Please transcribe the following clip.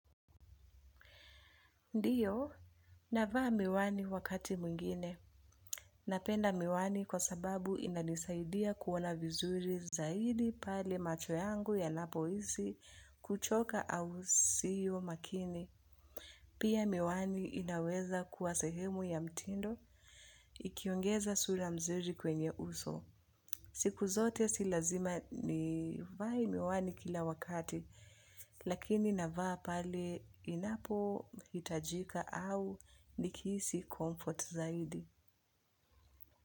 Ndiyo, navaa miwani wakati mwingine. Napenda miwani kwa sababu inanisaidia kuona vizuri zaidi pale macho yangu yanapohisi kuchoka au sio makini. Pia miwani inaweza kuwa sehemu ya mtindo ikiongeza sura mzuri kwenye uso. Siku zote si lazima nivae miwani kila wakati lakini navaa pale inapohitajika au nikihisi comfort zaidi.